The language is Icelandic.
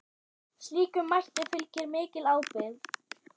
Slíkum mætti fylgir mikil ábyrgð.